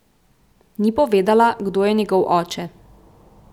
Ni povedala, kdo je njegov oče.